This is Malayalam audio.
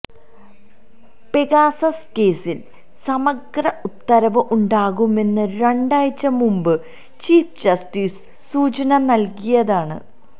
പെഗാസസ് കേസില് സമഗ്ര ഉത്തരവ് ഉണ്ടാകുമെന്ന് രണ്ടാഴ്ച മുമ്ബ് ചീഫ് ജസ്റ്റിസ് സൂചന നല്കിയതാണ്